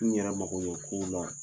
N yɛrɛ makoɲɛ ko la